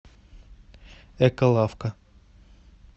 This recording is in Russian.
эколавка